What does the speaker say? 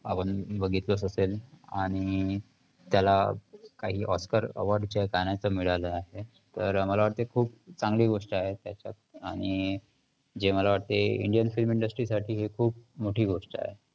आपण बघितलंच असेल आणि त्याला काही oscar award चे मिळाले आहे. तर मला वाटते खूप चांगली गोष्ट आहे त्याच्यात. आणि जे मला वाटते Indian film industry साठी हे खूप मोठी गोष्ट आहे.